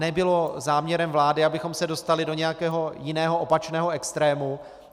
Nebylo záměrem vlády, abychom se dostali do nějakého jiného opačného extrému.